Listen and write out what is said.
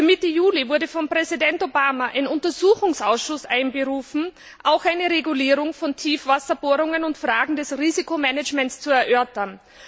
Für Mitte Juli wurde von Präsident Obama ein Untersuchungsausschuss einberufen, auch um eine Regulierung von Tiefwasserbohrungen und Fragen des Risikomanagements zu erörtern.